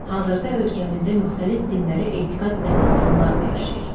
Hazırda ölkəmizdə müxtəlif dinlərə etiqad edən insanlar da yaşayır.